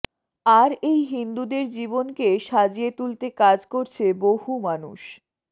আর এই হিন্দুদের জীবনকে সাজিয়ে তুলতে কাজ করছে বহু মানুষ